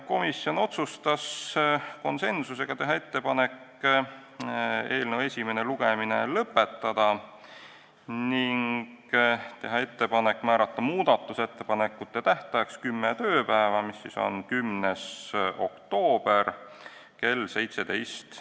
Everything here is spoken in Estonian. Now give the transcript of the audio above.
Komisjon otsustas teha ettepaneku eelnõu esimene lugemine lõpetada ning teha ettepaneku määrata muudatusettepanekute esitamise tähtajaks kümme tööpäeva, s.o 10. oktoober kell 17.